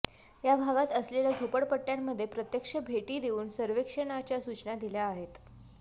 या भागात असलेल्या झोपडपट्ट्यांमध्ये प्रत्यक्ष भेटी देऊन सर्व्हेक्षणाच्या सूचना दिल्या आहेत